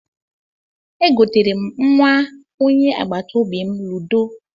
E goteere m nnwa onye agbataobi m ludo